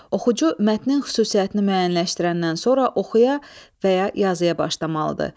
Oxucu mətnin xüsusiyyətini müəyyənləşdirəndən sonra oxuya və ya yazıya başlamalıdır.